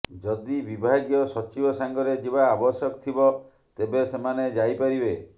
ଯଦି ବିଭାଗୀୟ ସଚିବ ସାଙ୍ଗରେ ଯିବା ଆବଶ୍ୟକ ଥିବ ତେବେ ସେମାନେ ଯାଇପାରିବେ